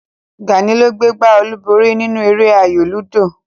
Gàní ló gbé gbá olúborí nínú eré ayò lúdò